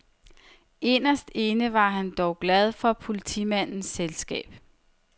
Inderst inde var han dog glad for politimandens selskab.